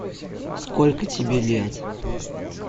сколько тебе лет